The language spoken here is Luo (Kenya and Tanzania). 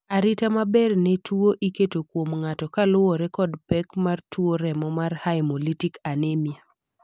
arita maber ne tuo iketo kuom ng'ato kaluwore kod pek mar tuo remo mar haemolytic anemia